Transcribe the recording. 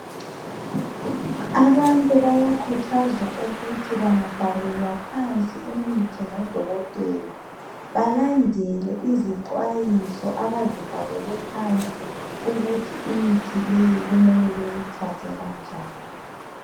Abantu bayakhuthazwa ukuthi bangabhalelwa imithi ngodokotela balandele Izixwayiso abazibhalelwe phansi ukuthi imithi leyi kumele beyithathe kanjani.